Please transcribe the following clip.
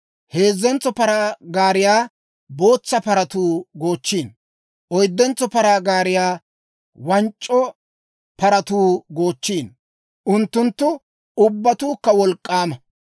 heezzentso paraa gaariyaa bootsa paratuu goochchiino; oyddentso paraa gaariyaa wanc'c'o paratuu goochchiino; unttunttu ubbatuukka wolk'k'aama.